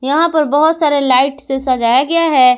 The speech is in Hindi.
यहां पर बहोत सारे लाइट से सजाया गया है।